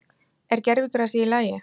Er gervigrasið í lagi?